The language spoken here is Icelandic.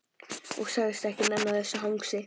Og sagðist ekki nenna þessu hangsi.